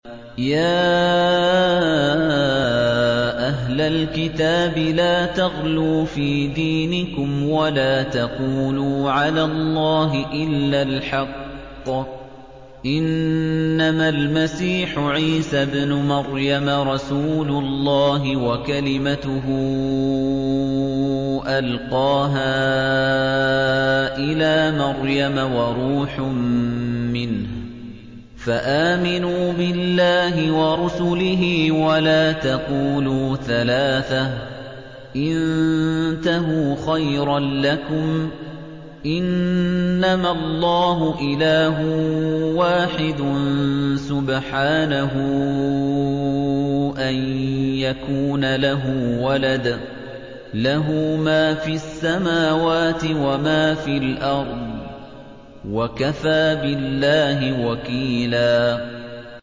يَا أَهْلَ الْكِتَابِ لَا تَغْلُوا فِي دِينِكُمْ وَلَا تَقُولُوا عَلَى اللَّهِ إِلَّا الْحَقَّ ۚ إِنَّمَا الْمَسِيحُ عِيسَى ابْنُ مَرْيَمَ رَسُولُ اللَّهِ وَكَلِمَتُهُ أَلْقَاهَا إِلَىٰ مَرْيَمَ وَرُوحٌ مِّنْهُ ۖ فَآمِنُوا بِاللَّهِ وَرُسُلِهِ ۖ وَلَا تَقُولُوا ثَلَاثَةٌ ۚ انتَهُوا خَيْرًا لَّكُمْ ۚ إِنَّمَا اللَّهُ إِلَٰهٌ وَاحِدٌ ۖ سُبْحَانَهُ أَن يَكُونَ لَهُ وَلَدٌ ۘ لَّهُ مَا فِي السَّمَاوَاتِ وَمَا فِي الْأَرْضِ ۗ وَكَفَىٰ بِاللَّهِ وَكِيلًا